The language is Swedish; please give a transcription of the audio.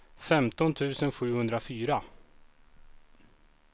femton tusen sjuhundrafyra